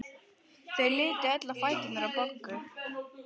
Þau litu öll á fæturna á Boggu.